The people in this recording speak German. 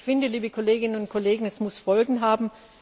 Ich finde, liebe Kolleginnen und Kollegen, das muss Folgen haben.